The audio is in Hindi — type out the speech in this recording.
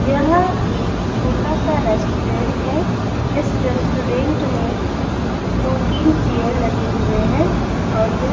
यह एक छोटा सा रेस्टोरेंट है। इस रेस्टोरेंट में दो तीन चेयर लगे हुए हैं और यह --